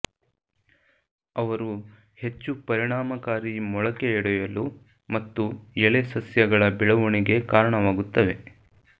ಅವರು ಹೆಚ್ಚು ಪರಿಣಾಮಕಾರಿ ಮೊಳಕೆಯೊಡೆಯಲು ಮತ್ತು ಎಳೆ ಸಸ್ಯಗಳ ಬೆಳವಣಿಗೆ ಕಾರಣವಾಗುತ್ತವೆ